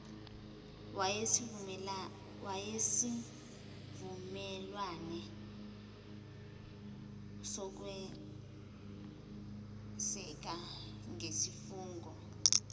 wesivumelwane sokweseka nesifungo